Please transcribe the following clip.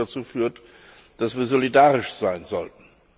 Was drittens dazu führt, dass wir solidarisch sein sollten.